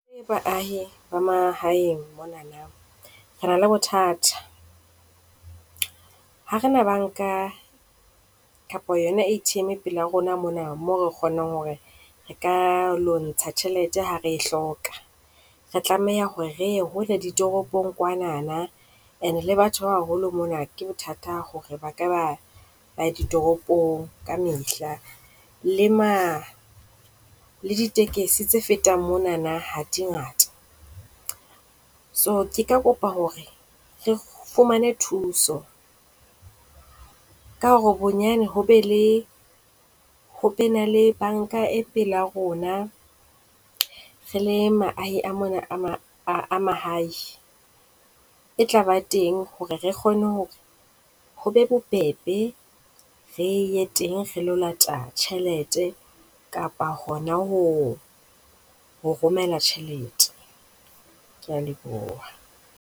Re le baahi ba mahaeng mona re na le bothata ha re na banka kapa yona ATM pele rona mona mo re kgonang hore re ka ilo ntsha tjhelete ha re e hloka. Re tlameha hore re hole ditoropong kwana and le batho ba baholo mona ke bothata hore ba ka ditoropong ka mehla. Le ma le ditekesi tse fetang monana, ha di ngata. So, ke kopa hore re fumane thuso ka hore bonyane ho be le ho ba ne le banka e pela rona. Re le baahi ba mona ba mahae e tlaba teng, hore re kgone hore ho be bobebe. Re ye teng re ilo lata tjhelete kapa hona ho ho romela tjhelete. Ke a leboha.